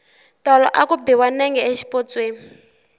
tolo a ku biwa nenge xipotsweni